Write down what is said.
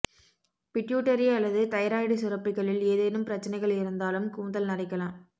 pituitary அல்லது thyroid சுரப்பிகளில் ஏதேனும் பிரச்னைகள் இருந்தாலும் கூந்தல் நரைக்கலாம்